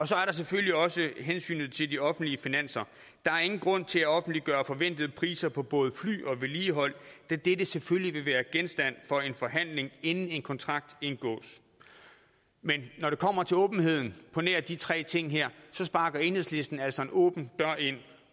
så er der selvfølgelig også hensynet til de offentlige finanser der er ingen grund til at offentliggøre forventede priser på både fly og vedligehold da dette selvfølgelig vil være genstand for en forhandling inden en kontrakt indgås men når det kommer til åbenheden på nær de tre ting her så sparker enhedslisten altså en åben dør ind